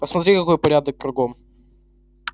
посмотри какой порядок кругом